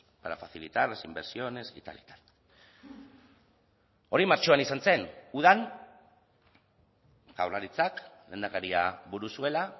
para facilitar las inversiones y tal y tal hori martxoan izan zen udan jaurlaritzak lehendakaria buru zuela